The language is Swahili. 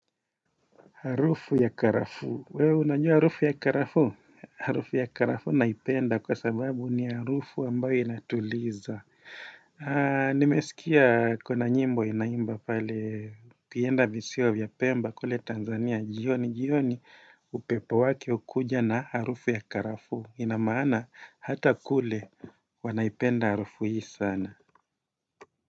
Harufu ya karafuu. Wewe unajua arufu ya karafuu? Harufu ya karafuu naipenda kwa sababu ni harufu ambayo inatuliza. Nimesikia kuna nyimbo inaimba pale ukienda visiwa vya pemba kule Tanzania jioni jioni upepo wake hukuja na harufu ya karafuu. Inamaana hata kule wanaipenda harufu hii sana.